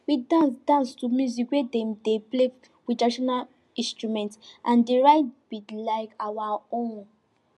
we dance dance to music wey dem dey play with traditional instrument and di rhythm be like our own